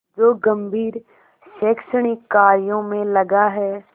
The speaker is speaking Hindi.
जो गंभीर शैक्षणिक कार्यों में लगा है